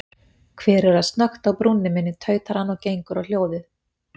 Hver er að snökta á brúnni minni, tautar hann og gengur á hljóðið.